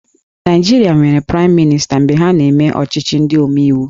Naịjirịa nwere Praịm Mịnịsta mgbe ha na-eme ọchịchị ndị omeiwu